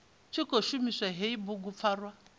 tshi khou shumisa hei bugupfarwa